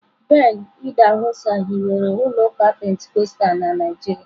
Ben idahosa hiwere ụlọ ụka Pentikọstal na Naịjirịa.